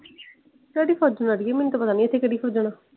ਕਿਹੜੀ ਫੌਜਣ ਅੜੀਏ? ਮੈਨੂੰ ਤੇ ਪਤਾ ਨਹੀਂ ਏਥੇ ਕਿਹੜੀ ਫੌਜਣ ਆ।